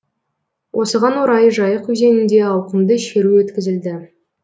осыған орай жайық өзенінде ауқымды шеру өткізілді